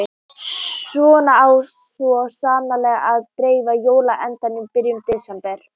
Svona á svo sannarlega að dreifa jóla-andanum í byrjun desember.